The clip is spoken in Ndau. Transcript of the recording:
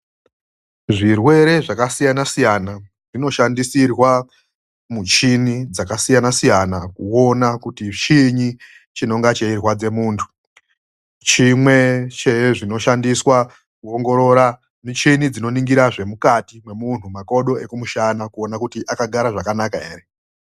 Zvirwere zvakasiya siyana zvinoshandisirwa michini dzakasiyana siyana kuona kuti chiini chinonga cheirwadza muntu. Chimwe chezvinoshandiswa kuongorora, michini dzinoningira zvirimukati memunhu, makodo ekumusanakuona kuti akagara zvakanaka ere.